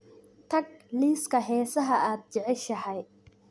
tag liiska heesaha aad jeceshahay